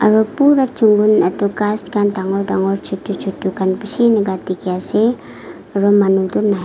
aru pura jungle itu ghas khan dangor dangor chutu chutu khan bishi iniga dikhi ase aru manu tu nai.